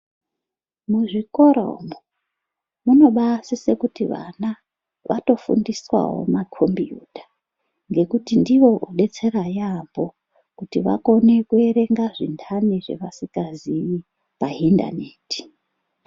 Muzvikora umwo munobasisa kuti vana vatofundiswawo makhombiyuta nekuti ndiwo otodetsera yaamho kuti vakone kuverenga zvintani zvavasingazivi pa indaneti.